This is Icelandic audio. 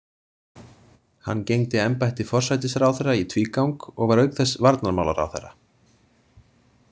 Hann gegndi embætti forsætisráðherra í tvígang og var auk þess varnarmálaráðherra.